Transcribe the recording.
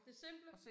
Det simple